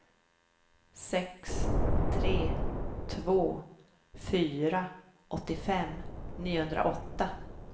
sex tre två fyra åttiofem niohundraåtta